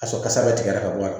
Ka sɔrɔ kasa bɛ tigɛ ka bɔ a la